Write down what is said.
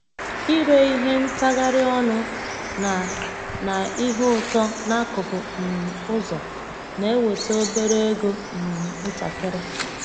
Ire ihe ntagharị ọnụ na na ihe ụtọ n'akụkụ um ụzọ na-eweta obere ego um ntakịrị.